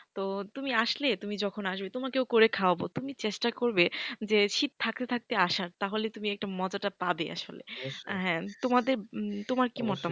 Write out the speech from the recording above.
তো তুমি আসলে তুমি যখন আসবে তোমাকেও করে খাওয়াবে তুমি চেষ্টা করবে যে শীত থাকতে থাকতে আসার তাহলে তুমি একটু মজাটা পাবে আসলে হ্যাঁ তোমাদের তোমার কি মতামত,